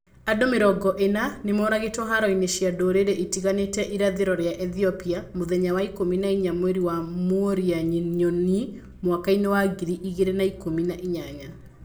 Andu mĩrongo ĩna nĩmoragĩtwo haro-inĩ cia ndurĩrĩ itiganĩte ĩrathiro rĩa Ethiopia mũthenya wa ikũmi na inya mweri wa mworia nyoni mwaka-inĩ wa ngiri igĩrĩ na ikũmi na inyanya